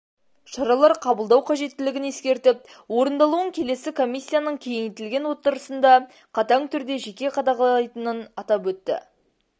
шаралар қабылдау кажеттілігін ескертіп орындалуын келесі комиссияның кеңейтілген отырысында қатаң түрде жеке қадағалайтынын атап өтті